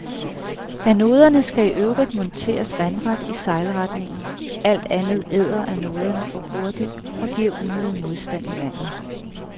Anoderne skal i øvrigt monteres vandret i sejlretningen, alt andet æder anoderne for hurtigt og giver unødig modstand i vandet.